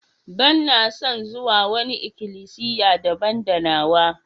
Banna son zuwa wani ikilisiya daban da nawa.